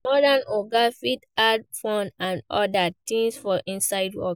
Modern oga fit add fun and oda things for inside work